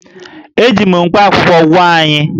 E ji mkpakwụkwọ gwọọ anyị